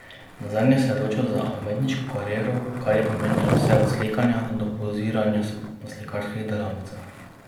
Nazadnje se je odločil za umetniško kariero, kar je pomenilo vse od slikanja do poziranja na slikarskih delavnicah.